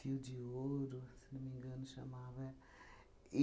de ouro, se não me engano, chamava, é.